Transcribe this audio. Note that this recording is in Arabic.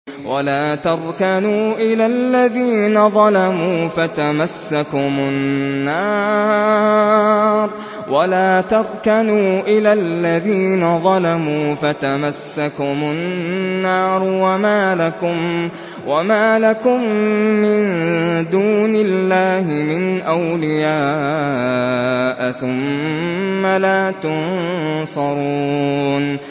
وَلَا تَرْكَنُوا إِلَى الَّذِينَ ظَلَمُوا فَتَمَسَّكُمُ النَّارُ وَمَا لَكُم مِّن دُونِ اللَّهِ مِنْ أَوْلِيَاءَ ثُمَّ لَا تُنصَرُونَ